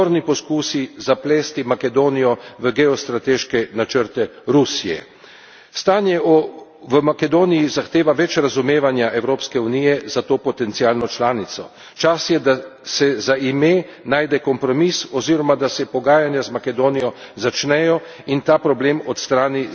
poskusi zaplesti Makedonijo v geostrateške načrte Rusije. Stanje v Makedoniji zahteva več razumevanja Evropske unije za to potencialno članico. Čas je, da se za ime najde kompromis oziroma da se pogajanja z Makedonijo začnejo in ta problem odstrani